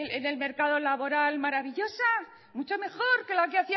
en el mercado laboral maravillosa mucho mejor que la que